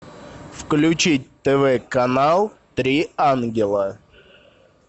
включить тв канал три ангела